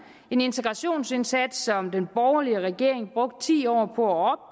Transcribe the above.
en integrationsindsats som den borgerlige regering brugte ti år på at